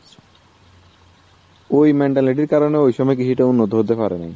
ওই mentality র কারণে ওই সময় কিছুটা উন্নত হতে পারে নাই